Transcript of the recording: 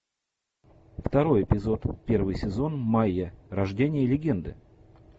второй эпизод первый сезон майя рождение легенды